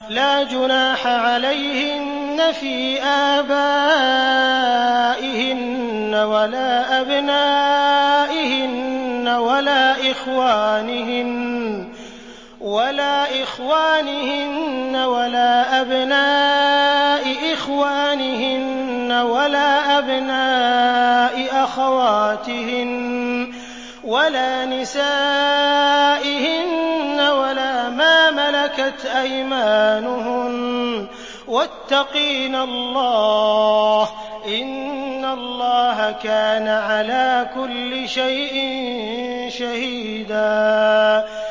لَّا جُنَاحَ عَلَيْهِنَّ فِي آبَائِهِنَّ وَلَا أَبْنَائِهِنَّ وَلَا إِخْوَانِهِنَّ وَلَا أَبْنَاءِ إِخْوَانِهِنَّ وَلَا أَبْنَاءِ أَخَوَاتِهِنَّ وَلَا نِسَائِهِنَّ وَلَا مَا مَلَكَتْ أَيْمَانُهُنَّ ۗ وَاتَّقِينَ اللَّهَ ۚ إِنَّ اللَّهَ كَانَ عَلَىٰ كُلِّ شَيْءٍ شَهِيدًا